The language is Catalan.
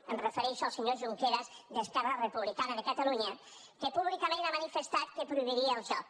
em refereixo al senyor junqueras d’esquerra republicana de catalunya que públicament ha manifestat que prohibiria el joc